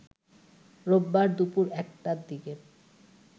রোববার দুপুর ১টার দিকে